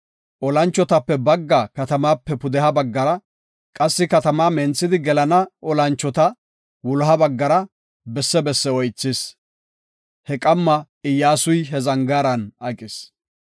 Olanchotape baggaa katamaape pudeha baggara, qassi katamaa menthidi gelana olanchota wuloha baggara besse besse oythis. He qamma Iyyasuy he zangaaran aqis.